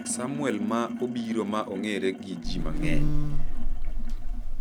Samwel ma obiro ma ong'ere gi ji mang'eny